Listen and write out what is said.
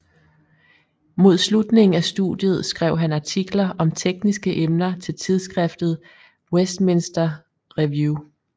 Mod slutningen af studiet skrev han artikler om tekniske emner til tidsskriftet Westminster Review